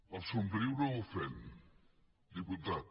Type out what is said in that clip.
el somriure ofèn diputat